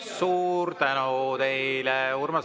Suur tänu teile!